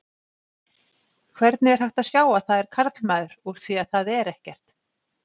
Hvernig er hægt að sjá að það er karlmaður úr því að það er ekkert?